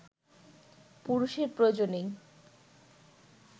পুরুষের প্রয়োজনেই